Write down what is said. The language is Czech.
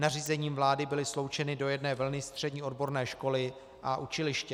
Nařízením vlády byly sloučeny do jedné vlny střední odborné školy a učiliště.